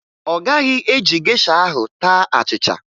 Ọ gaghị eji gesha ahụ taa achịcha